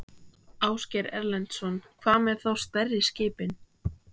Ásgeir Erlendsson: Hvað með þá stærri skipin?